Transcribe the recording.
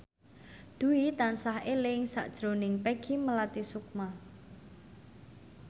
Dwi tansah eling sakjroning Peggy Melati Sukma